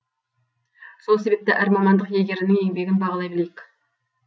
сол себепті әр мамандық иегерінің еңбегін бағалай білейік